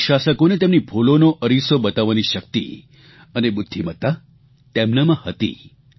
British શાસકોને તેમની ભૂલોનો અરીસો બતાવવાની શક્તિ અને બુદ્ધિમત્તા તેમનામાં હતી